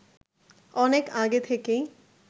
অনেক আগে থেকেই